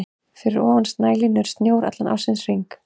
Fyrir ofan snælínu er snjór allan ársins hring.